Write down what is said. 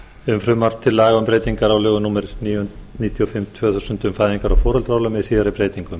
um frumvarp til laga um breytingar á lögum númer níutíu og fimm tvö þúsund með síðari breytingum